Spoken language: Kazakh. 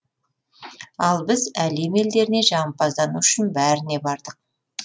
ал біз әлем елдеріне жағымпаздану үшін бәріне бардық